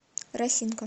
росинка